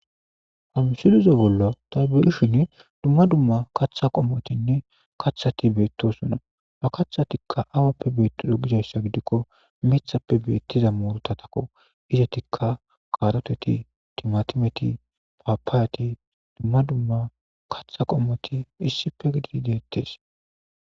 Ha msileza bolla tabuhishin dumma dumma katha qommotinne kathati beettosunna ba kaththatikka awappe beettido gidayssa gidikko mithappe beettiza mooruta takko izetikka karoteti timatimeti paapaayati dumma dumma katha qommoti issife gidii deettes.